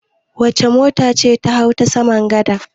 Wace mota ce ta hau ta saman gada?